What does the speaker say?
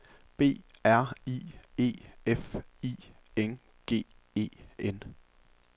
B R I E F I N G E N